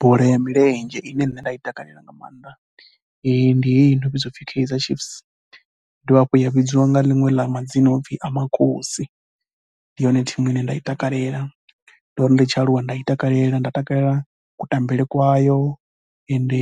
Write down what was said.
Bola ya milenzhe ine nṋe nda i takalela nga maanḓa ndi heyi yo no vhidzwa u pfhi Kaizer Chiefs, i dovha hafhu ya vhidzwa nga liṅwe ḽa madzina a no pfhi Amakhosi ndi yone thimu ine nda i takalela. Ndo ri ndi tshi aluwa nda i takalela, nda takalela kutambele kwayo ende